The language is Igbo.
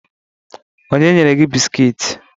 Onye nyere gi bisikiiti?